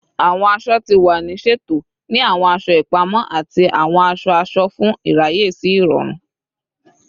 Awọn aṣọ ti wa ni ṣeto ni awọn aṣọ ipamọ ati awọn aṣọ-aṣọ fun iraye si irọrun